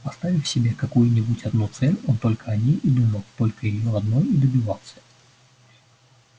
поставив себе какую-нибудь одну цель он только о ней и думал только её одной и добивался